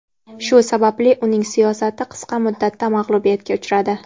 Shu sababli uning siyosati qisqa muddatda mag‘lubiyatga uchradi.